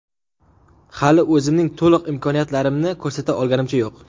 Hali o‘zimning to‘liq imkoniyatlarimni ko‘rsata olganimcha yo‘q.